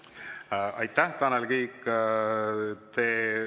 Aitäh, Tanel Kiik!